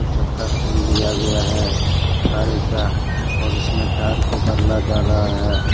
चक्का खोल दिया गया है सारी का और उसमें टायर को बदला जा ला है।